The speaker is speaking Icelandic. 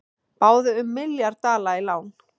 Báðu um milljarð dala í lán